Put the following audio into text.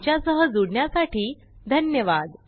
आमच्या सह जुडण्यासाठी धन्यवाद